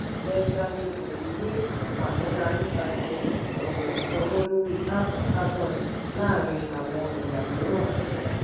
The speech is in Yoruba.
benjamin obi ní ìfàmọ́ra nípasẹ̀ ọ̀nà ìsanwó lórí áápù carbon láàárín àwọn ẹ̀yà mìíràn. "